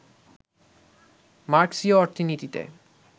মার্ক্সীয় অর্থনীতিতে